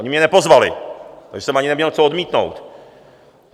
Oni mě nepozvali, takže jsem ani neměl co odmítnout.